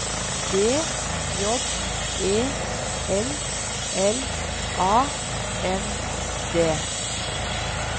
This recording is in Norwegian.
B J E L L A N D